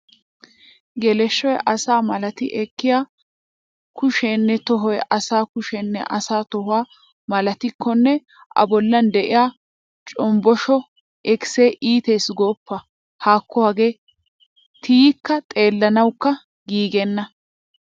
Geleshshoy asa malati ekkiya a kusheenne tohoy asa kushenne asa toho malatikkonne a bollan de'iya coposho ikisee iitees gooppa. Haakko hagee tiykki xeelanawukka giigenna.